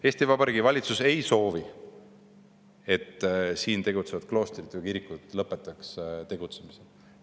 Eesti Vabariigi valitsus ei soovi, et siin tegutsevad kloostrid ja kirikud lõpetaksid tegutsemise.